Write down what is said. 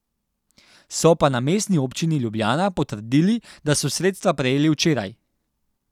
So pa na Mestni občini Ljubljana potrdili, da so sredstva prejeli včeraj.